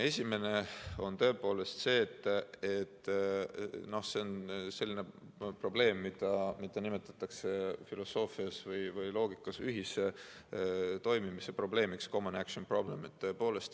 Esimene on, et see on selline probleem, mida nimetatakse filosoofias või loogikas ühise toimimise probleemiks: common action problem.